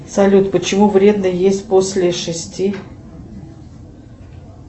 салют почему вредно есть после шести